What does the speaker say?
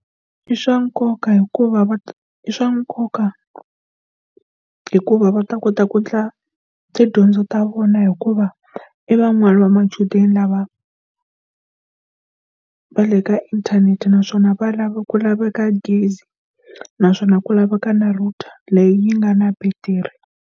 I swa nkoka hikuva va i swa nkoka hikuva va ta kota ku endla tidyondzo ta vona hikuva i van'wani va machudeni ni lava va le ka inthanete naswona valava ku laveka gezi naswona ku laveka na router leyi yi nga na battery.